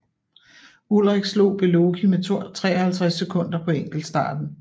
Ullrich slog Beloki med 53 sekunder på enkeltstarten